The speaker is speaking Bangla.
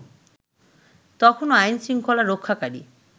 তখনও আইনশৃঙ্খলা রক্ষাকারী